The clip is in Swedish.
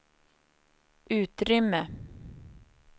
utrymme